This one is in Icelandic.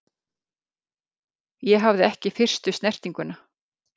Ég hafði ekki fyrstu snertinguna.